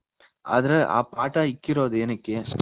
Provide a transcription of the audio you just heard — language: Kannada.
ಆದ್ರೆ ಆ ಪಾಠ ಇಕ್ಕಿರೋದ್ ಎನಿಕ್ಕೆ